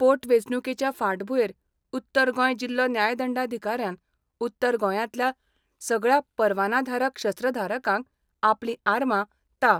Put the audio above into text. पोट वेंचणूकेंच्या फाटभूंयेर उत्तर गोंय जिल्हो न्यायदंडाधिकाऱ्यान उत्तर गोंयातल्या सगळया परवानाधारक शस्त्रधारकांक आपली आर्मां ता.